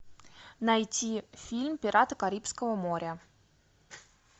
найти фильм пираты карибского моря